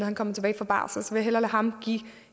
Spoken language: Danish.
er kommet tilbage fra barsel så jeg lade ham give